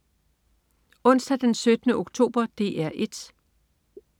Onsdag den 17. oktober - DR 1: